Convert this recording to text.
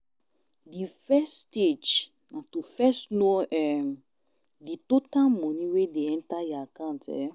Di first stage na to first know um di total money wey de enter your account um